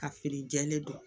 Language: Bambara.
Ka feere jɛlen don